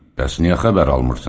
Bəs niyə xəbər almırsan?